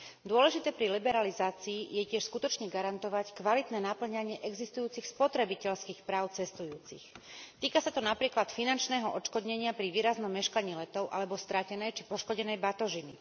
Dôležité pri liberalizácii je tiež skutočne garantovať kvalitné napĺňanie existujúcich spotrebiteľských práv cestujúcich. Týka sa to napríklad finančného odškodnenia pri výraznom meškaní letov alebo stratenej či poškodenej batožiny.